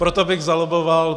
Proto bych zalobboval.